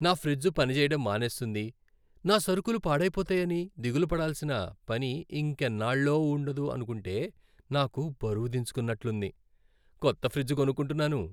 నా ఫ్రిజ్ పనిచేయడం మానేస్తుంది, నా సరుకులు పాడయిపోతాయని దిగులు పడాల్సిన పని ఇంకెన్నాళ్ళో ఉండదు అనుకుంటే, నాకు బరువు దించేసుకున్నట్లుంది. కొత్త ఫ్రిజ్ కొనుక్కుంటున్నాను.